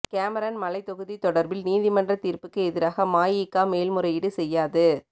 Cameron மலை தொகுதி தொடர்பில் நீதிமன்றத் தீர்ப்புக்கு எதிராக மஇகா மேல்முறையீடு செய்யாது